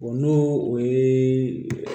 n'o o ye